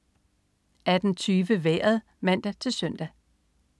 18.20 Vejret (man-søn)